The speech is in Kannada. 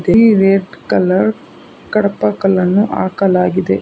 ಇಲ್ಲಿ ರೆಡ್ ಕಲರ್ ಕಡಪ ಕಲ್ಲನ್ನು ಹಾಕಲಾಗಿದೆ.